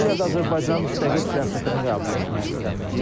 Üstəgəl də Azərbaycan müstəqil siyasətini qəbul etmək istəmirlər.